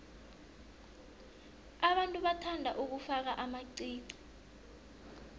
abantu bathanda ukufaka amaqiqi